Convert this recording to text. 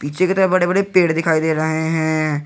नीचे की तरफ बड़े बड़े पेड़ दिखाई दे रहे हैं।